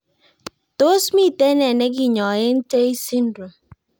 Tos mito nee nekenyae Tay syndrome